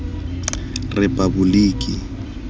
repaboliki